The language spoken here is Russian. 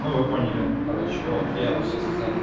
ну вы поняли короче вот я все сказал